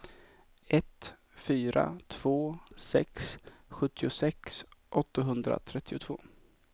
ett fyra två sex sjuttiosex åttahundratrettiotvå